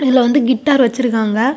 இதுல வந்து கிட்டார் வச்சிருக்காங்க.